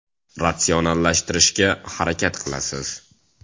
Ratsionallashtirishga harakat qilasiz.